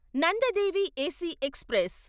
Nanda Devi AC express